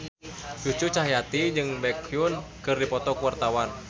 Cucu Cahyati jeung Baekhyun keur dipoto ku wartawan